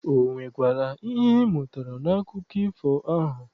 Ọ nwekwara ihe ị mụtara n'akụkọ ifo ahụ?